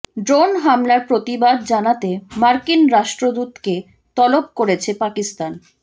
drone হামলার প্রতিবাদ জানাতে মার্কিন রাষ্ট্রদূতকে তলব করেছে পাকিস্তান